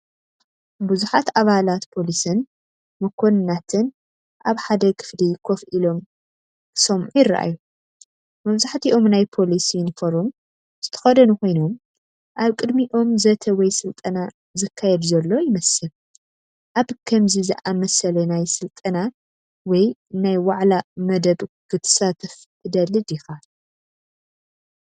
ቡዝሓት ኣባላት ፖሊስን መኮንናትን ኣብ ሓደ ክፍሊ ኮፍ ኢሎም ክሰምዑ ይረኣዩ። መብዛሕትኦም ናይ ፖሊስ ዩኒፎርም ዝተኸድኑ ኮይኖም፡ኣብ ቅድሚኦም ዘተ ወይ ስልጠና ዝካየድ ዘሎ ይመስል። ኣብ ከምዚ ዝኣመሰለ ናይ ስልጠና ወይ ናይ ዋዕላ መደብ ክትሳተፍ ትደሊ ዲኻ?